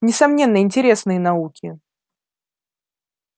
несомненно интересные науки